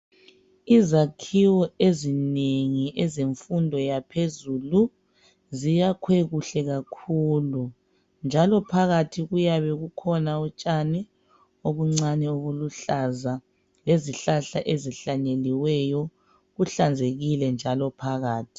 Izakhiwo ezinengi ezemfundo yaphezulu ziyakhwe kuhle kakhulu njalo phakathi kuyabe kukhona utshani obuncane obuluhlaza lezihlahla ezihlanyeliweyo ,kuhlanzekile njalo phakathi.